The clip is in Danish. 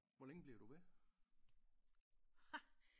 Hvor længe bliver du ved